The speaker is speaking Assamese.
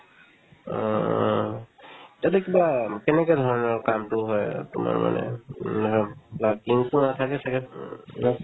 অ অ তাতে কিবা কেনেকে ধৰণৰ কামটো হয় তোমাৰ মানে এনেকা workings ও থাকে ছাগে উম ন